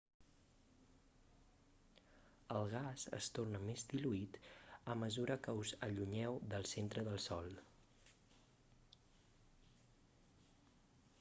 el gas es torna més diluït a mesura que us allunyeu del centre del sol